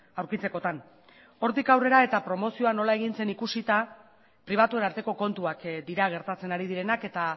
aurkitzekotan hortik aurrera eta promozioa nola egin zen ikusita pribatuen arteko kontuak dira gertatzen ari direnak eta